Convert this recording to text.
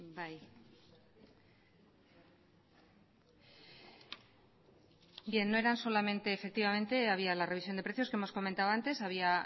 bien efectivamente no solo había la revisión de precios que hemos comentado antes había